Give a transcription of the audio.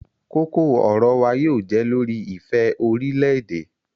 Koko-ọrọ wa yóò jẹ lori ifẹ orilẹ-ede